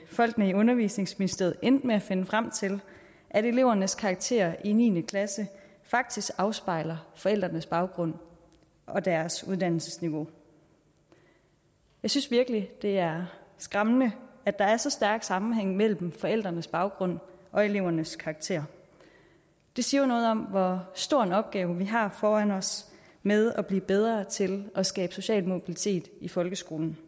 folkene i undervisningsministeriet endte med at finde frem til at elevernes karakterer i niende klasse faktisk afspejler forældrenes baggrund og deres uddannelsesniveau jeg synes virkelig det er skræmmende at der er så stærk sammenhæng mellem forældrenes baggrund og elevernes karakterer det siger jo noget om hvor stor en opgave vi har foran os med at blive bedre til at skabe social mobilitet i folkeskolen